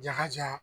Jaka ja